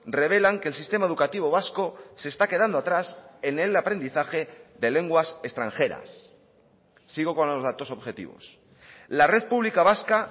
revelan que el sistema educativo vasco se está quedando atrás en el aprendizaje de lenguas extranjeras sigo con los datos objetivos la red pública vasca